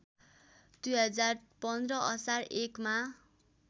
२०१५ असार १ मा